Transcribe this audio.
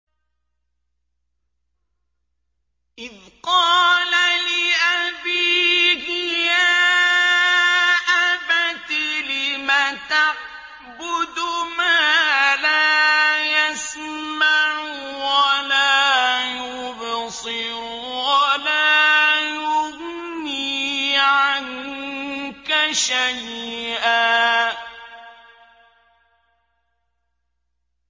إِذْ قَالَ لِأَبِيهِ يَا أَبَتِ لِمَ تَعْبُدُ مَا لَا يَسْمَعُ وَلَا يُبْصِرُ وَلَا يُغْنِي عَنكَ شَيْئًا